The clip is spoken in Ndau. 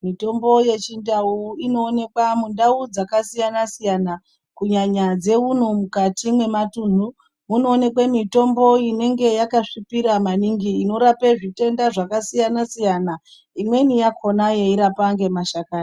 Mitombo yechindau inoonekwa mundau dzakasiyana-siyana kunyanya dzeuno mukati mematunhu. Munooneke mitombo inenge yakasvipira maningi inorape zvitenda zvakasiyana-siyana, imweni yakona yeirapa ngemashakani.